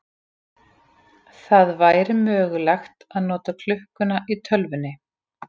Það væri mögulegt að nota klukkuna í tölvunni.